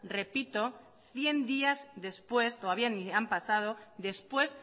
repito cien días después todavía ni han pasado después